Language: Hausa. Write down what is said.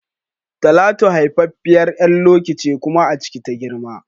Talatu haifaffiyar ƴar Loki ce kuma a ciki ta girma